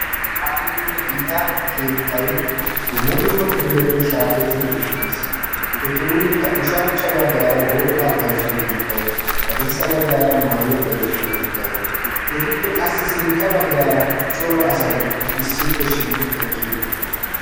aahonne gita keettay dumma dumma kifiletun shaakettidi uttiis, etuunikka ushachcha bagaara worqaa bayzziyo keettay hadirssa bagaara maayuwa bayzziyo keettay etuppe qassi sinta bagaara cora asati issippe shiiqi eqqi uttidosona.